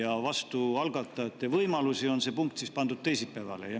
Aga algatajate võimalusi on see punkt pandud teisipäevale.